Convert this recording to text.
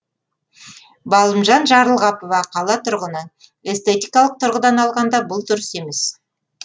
балымжан жарлығапова қала тұрғыны эстетикалық тұрғыдан алғанда бұл дұрыс емес